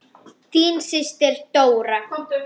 Þín systir, Dóra.